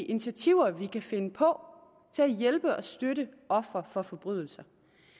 initiativer vi kan finde på til at hjælpe og støtte ofre for forbrydelser